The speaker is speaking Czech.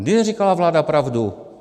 Kdy neříkala vláda pravdu?